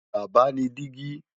Baba ni digi